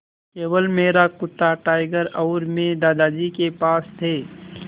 केवल मेरा कुत्ता टाइगर और मैं दादाजी के पास थे